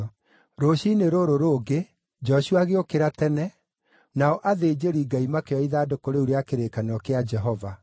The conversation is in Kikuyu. Rũciinĩ rũrũ rũngĩ, Joshua agĩũkĩra tene, nao athĩnjĩri-Ngai makĩoya ithandũkũ rĩu rĩa kĩrĩkanĩro kĩa Jehova.